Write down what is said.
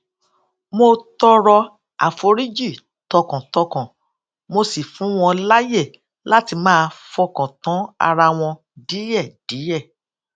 mo tọrọ àforíjì tọkàntọkàn mo sì fún wọn láyè láti máa fọkàn tán ara wọn díèdíè